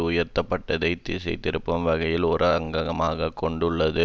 உயர்த்தப்பட்டதை திசைதிருப்பும் வகையையும் ஓர் அங்கமாக கொண்டுள்ளது